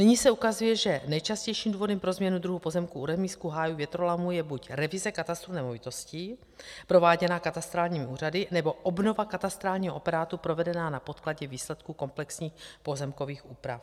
Nyní se ukazuje, že nejčastějším důvodem pro změnu druhu pozemku u remízků, hájů, větrolamů je buď revize katastru nemovitostí prováděná katastrálními úřady, nebo obnova katastrálního operátu provedená na podkladě výsledků komplexních pozemkových úprav.